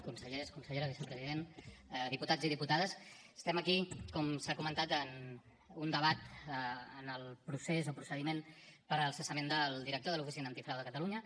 consellers consellera vicepresident diputats i diputades estem aquí com s’ha comentat en un debat en el procés o procediment per al cessament del director de l’oficina antifrau de catalunya